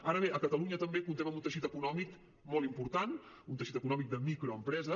ara bé a catalunya també comptem amb un teixit econòmic molt important un teixit econòmic de microempreses